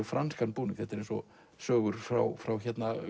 franskan búning þetta er eins og sögur frá frá